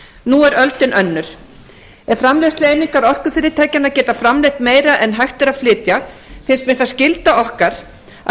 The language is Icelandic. nú er öldin önnur ef framleiðslueiningar orkufyrirtækjanna geta framleitt meira en hægt er að flytja tel ég það skyldu okkar að